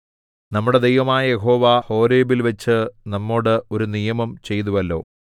നമ്മുടെ ദൈവമായ യഹോവ ഹോരേബിൽവച്ച് നമ്മോട് ഒരു നിയമം ചെയ്തുവല്ലോ